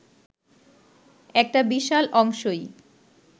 একটা বিশাল অংশই